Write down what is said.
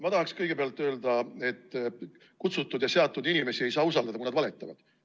Ma tahaksin kõigepealt öelda, et kutsutud ja seatud inimesi ei saa usaldada, kui nad valetavad.